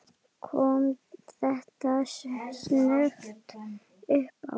Kom þetta snöggt uppá?